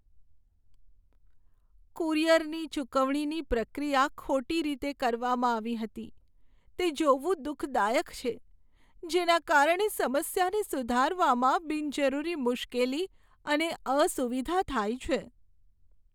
કુરિયરની ચુકવણીની પ્રક્રિયા ખોટી રીતે કરવામાં આવી હતી તે જોવું દુઃખદાયક છે, જેના કારણે સમસ્યાને સુધારવામાં બિનજરૂરી મુશ્કેલી અને અસુવિધા થાય છે.